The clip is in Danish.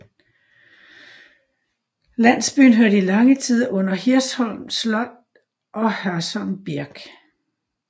Landsbyen hørte i lange tider under Hirschholm Slot og Hørsholm Birk